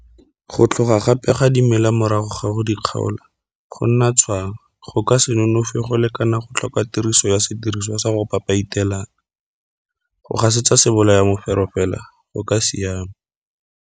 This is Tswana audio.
Go tlhoga gape ga dimela morago ga go di kgaola go nna tshwang go ka se nonofe go lekana go tlhoka tiriso ya sediriswa sa go papaitelang. Go gasetsa sebolayamefero fela go ka siama.